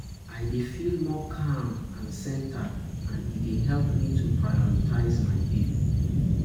I dey feel more calm and centered, and e dey help me to prioritize my day.